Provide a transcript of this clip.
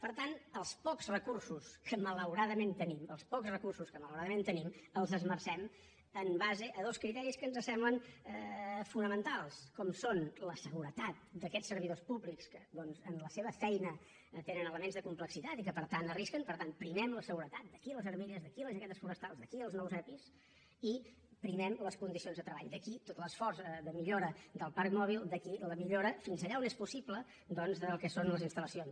per tant els pocs recursos que malauradament tenim els pocs recursos que malauradament tenim els esmercem en base a dos criteris que ens semblen fonamentals com són la seguretat d’aquests servidors públics que en la seva feina tenen elements de complexitat i que per tant arrisquen per tant primem la seguretat d’aquí les armilles d’aquí les jaquetes forestals d’aquí els nous epi i primem les condicions de treball d’aquí tot l’esforç de millora del parc mòbil d’aquí la millora fins allà on és possible doncs del que són les instal·lacions